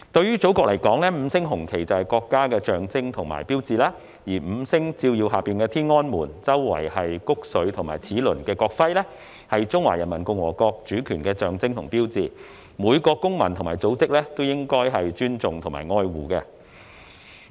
對祖國而言，五星紅旗就是國家的象徵和標誌；而在五星照耀下、以穀穗和齒輪環繞天安門的國徽，象徵和標誌中華人民共和國的主權，是每個公民和組織也應當尊重和愛護的。